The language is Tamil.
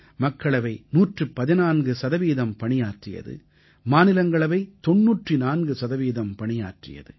மக்களவை 114 சதவீதம் பணியாற்றியது மாநிலங்களவை 94 சதவீதம் பணியாற்றியது